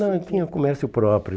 Não, ele tinha comércio próprio.